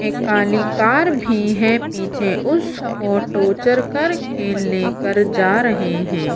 एक काली कार भी है पीछे उसको टोचर करके लेकर जा रहे हैं।